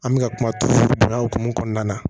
An bɛ ka kuma turu don ya hukumu kɔnɔna na